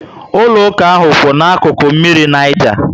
Ụlọ ụka ahụ kwu ná akụkụ mmiri Niger